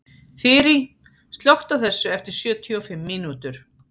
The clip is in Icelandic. Þyri, slökktu á þessu eftir sjötíu og fimm mínútur.